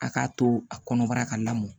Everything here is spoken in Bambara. A k'a to a kɔnɔbara ka lamɔ